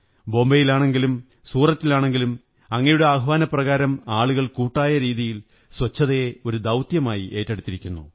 മുബൈയിലാണെങ്കിലും സൂററ്റിലാണെങ്കിലും അങ്ങയുടെ ആഹ്വാനപ്രകാരം ആളുകൾ കൂട്ടായ രീതിയിൽ സ്വച്ഛതയെ ഒരു ദൌത്യമായി ഏറ്റെടുത്തിരിക്കുന്നു